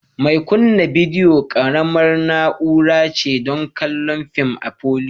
Mai kunna bidiyo ƙaramar na'ura ce don kallon fim a palour